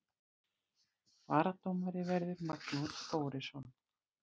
Varadómari verður Magnús Þórisson.